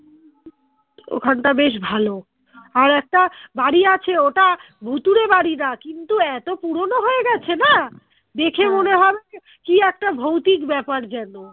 ওখানটা বেশ ভালো আর একটা বাড়ি আছে ওটা ভুতুড়ে বাড়ি না কিন্তু এতো পুরোনো হয়ে গেছে না দেখে হবে যে কি একটা ভৌতিক ব্যাপার যেন